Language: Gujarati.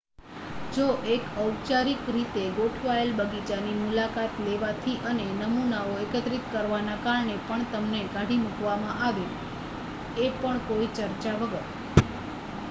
"જો એક ઔપચારિક રીતે ગોઠવાયેલ બગીચાની મુલાકાત લેવાથી અને "નમૂનાઓ" એકત્રિત કરવાના કારણે પણ તમને કાઢી મુકવામાં આવે એ પણ કોઈ ચર્ચા વગર.